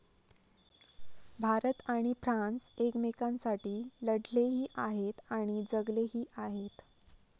भारत आणि फ्रान्स एकमेकांसाठी लढलेही आहेत आणि जगलेही आहेत.